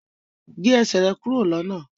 gbé Ẹsẹ̀ rẹ kúrò lọnà!